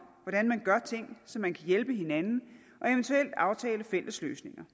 hvordan man gør ting så man kan hjælpe hinanden og eventuelt aftale fælles løsninger